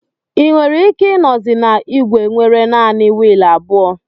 Ị nwere ike ịnozi na igwe nwere naanị wiil abụọ